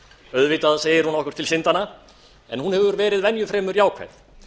auðvitað segir hún okkur til syndanna en hún hefur verið venju fremur jákvæð